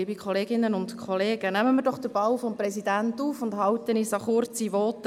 Nehmen wir den Ball des Präsidenten auf und halten uns an kurze Voten.